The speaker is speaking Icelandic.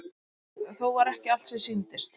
Þó var ekki allt sem sýndist.